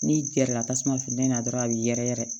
N'i gɛrɛla tasuma funtɛni na dɔrɔn a bi yɛrɛ yɛrɛ